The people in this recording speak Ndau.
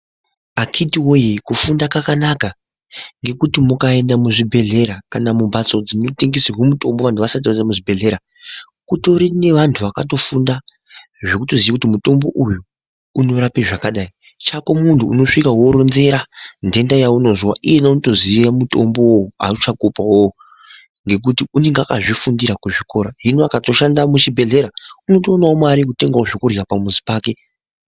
Akhiti voye kufunda kwakanaka ngekuti mukaenda muzvibhedhlera kana mumhatso dzinotengeserwe mutombo vantu vasati vaziye muzvibhedhleya. Kutorine vantu vakatofunda zvekutoziye kuti mutombo uyu unorape zvakadai chakomuntu unosvika votoronzera nhenda yaunozwa. Iyena unotoziya mutombovo vachakupavo ngekuti unenga akazvifundira kuzvikora. Hino akatoshanda muzvibhedhlera unotovanavo mare yekutenga zvekurya pamuzi pake.